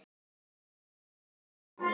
Hann var mjög góður maður.